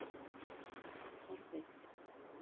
Vallarbyggð